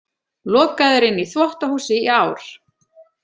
Lokaður inni í þvottahúsi í ár